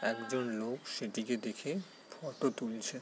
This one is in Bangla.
একজন লোক সেইদিকে দেখে ফটো তুলছে ।